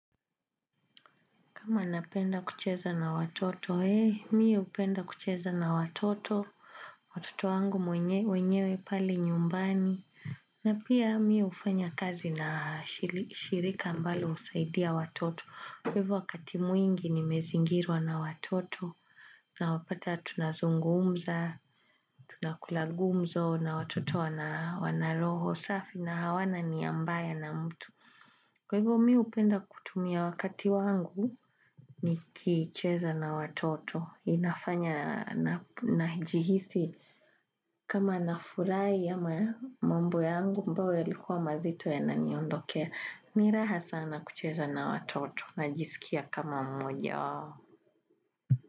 Kama napenda kucheza na watoto, ee, mimi hupenda kucheza na watoto. Watoto wangu mwenyewe pale nyumbani. Na pia mimi hufanya kazi na shirika ambalo husaidia watoto. Kwa hivyo wakati mwingi ni mezingirwa na watoto. Na wapata tunazungumza, tunakulagumzo na watoto wanaroho safi na hawana ni ambaya na mtu. Kwa hivyo mimi hupenda kutumia wakati wangu. Ni kicheza na watoto. Inafanya na jihisi kama na furahi ama mambo yangu ambayo ya likuwa mazito ya na niondokea. Ni raha sana kucheza na watoto na jisikia kama mmojawao.